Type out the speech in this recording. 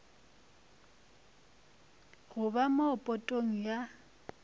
go ba mo potong ya